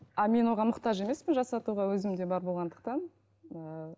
а мен оған мұқтаж емеспін жасатуға өзімде бар болғандықтан